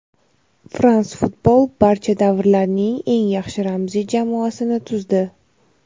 "France Football" barcha davrlarning eng yaxshi ramziy jamoasini tuzdi.